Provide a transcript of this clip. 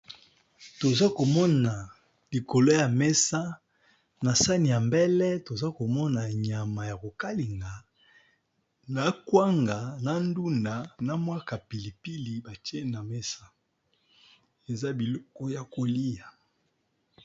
Toza ko mona likolo ya mesa na sani ya mbele, toza ko mona nyama ya kokalinga na kwanga, na ndunda na mwa ka pilipili ba tié na mesa, eza biloko ya kolia .